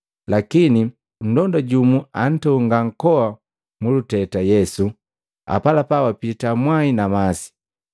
Lakini nndonda jumu antonga nkoa muluteta Yesu apalapa wapita mwai na masi.